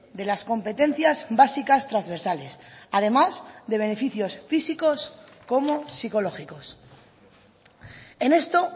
de las competencias básicas transversales además de beneficios físicos como psicológicos en esto